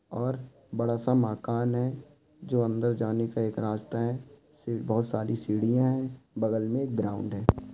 और बडा सा माकन है। जो अंदर जाने का एक रास्ता है। बहुत सारी सीढ़िया है। बगल में एक ग्राउंड है।